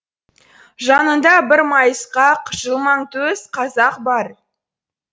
жанында бір майысқақ жылмаңтөс қазақ бар